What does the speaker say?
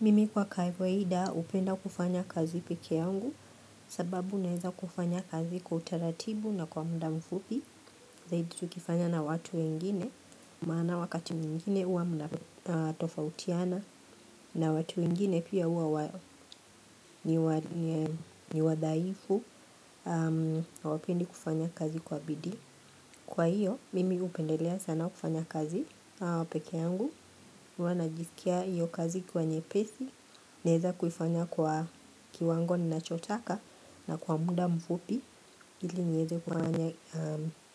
Mimi kwa kawaida hupenda kufanya kazi pekee yangu sababu naeza kufanya kazi kwa utaratibu na kwa muda mfupi zaidi tukifanya na watu wengine maana wakati mwingine huwa mnatofautiana na watu wengine pia huwa wadhaifu hawapendi kufanya kazi kwa bidii. Kwa hiyo, mimi hupendelea sana kufanya kazi pekee yangu, huwa najiskia hiyo kazi kuwa nyepesi, naeza kuifanya kwa kiwango ninachotaka na kwa muda mfupi, ili niweze kufanya